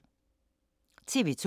TV 2